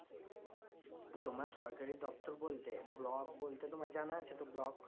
তোমার সরকারি দপ্তর বলতে block বলতে তোমার জানা আছে তো block